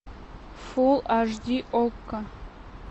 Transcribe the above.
фулл аш ди окко